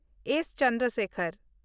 S. Chandrasekhar